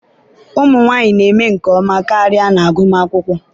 ụmụ nwanyị na-eme nke ọma karịa n'agụmakwụkwọ.